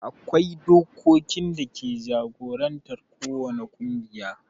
akwai dokokin dake jagorantar ko wani ƙungiya